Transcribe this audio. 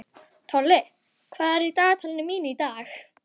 Annars gerir húsfreyjan okkur höfðinu styttri.